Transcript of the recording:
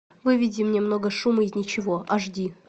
выведи мне много шума из ничего аш ди